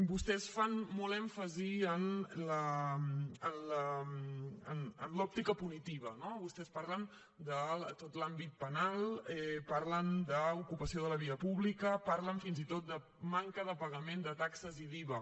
vostès fan molt èmfasi en l’òptica punitiva no vostès parlen de tot l’àmbit penal parlen d’ocupació de la via pública parlen fins i tot de manca de pagament de taxes i d’iva